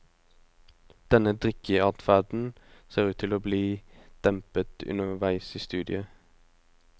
Denne drikkeadferden ser ut til å bli dempet underveis i studiet.